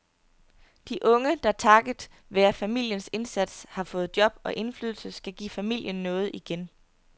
De unge, der takket være familiens indsats har fået job og indflydelse, skal give familien noget igen.